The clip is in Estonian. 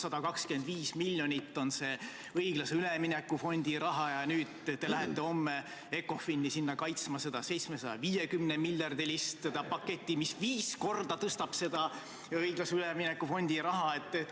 125 miljonit on õiglase ülemineku fondi raha ja homme te lähete Ecofini kaitsma seda 750-miljardilist paketti, mis viis korda suurendab seda õiglase ülemineku fondi raha.